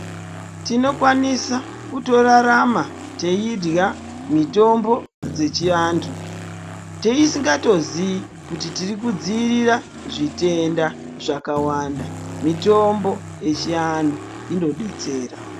Tinokwanisa kutorarama teidya mitombo dzechiantu tisingatozii kuti tirikudziirira zvitenda zvakawanda. Mitombo yechiantu inodetsera.